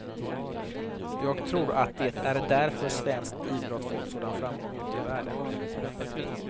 Jag tror att det är därför svensk idrott fått sådan framgång ute i världen.